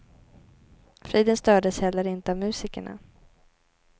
Friden stördes heller inte av musikerna.